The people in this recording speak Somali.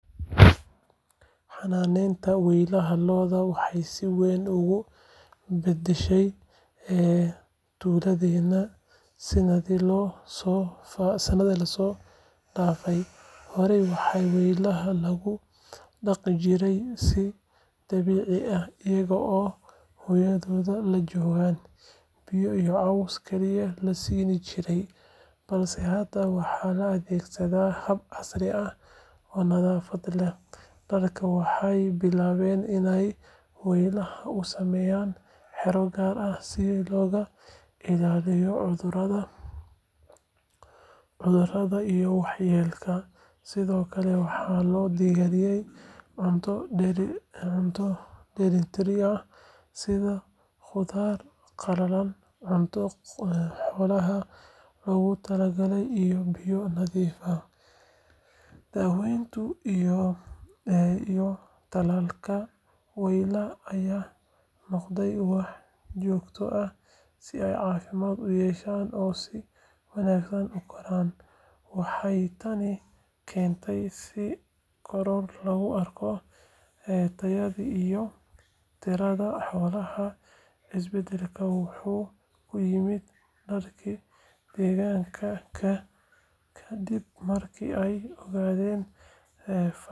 Xanaanaynta weylaha lo’da waxay si weyn uga beddeshay tuuladeenna sanadihii la soo dhaafay. Horey waxaa weylaha lagu dhaqdi jiray si dabiici ah iyaga oo hooyadood la joogaan, biyo iyo caws kaliya la siin jiray, balse hadda waxaa la adeegsadaa hab casri ah oo nadaafad leh. Dadka waxay bilaabeen iney weylaha u sameeyaan xero gaar ah si looga ilaaliyo cudurada iyo waxyeelada, sidoo kale waxaa loo diyaariyaa cunto dheellitiran sida qudaar qalalan, cunto xoolaha loogu tala galay iyo biyo nadiif ah. Daaweynta iyo tallaalka weylaha ayaa noqday wax joogto ah si ay caafimaad u yeeshaan oo si wanaagsan u koraan. Waxay tani keentay in koror lagu arko tayada iyo tirada xoolaha. Isbeddelkan wuxuu u yimid dadkii deegaanka ka dib markii ay ogaadeen.